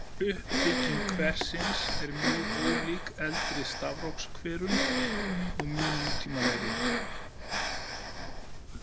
Uppbygging kversins er mjög ólík eldri stafrófskverum og mun nútímalegri.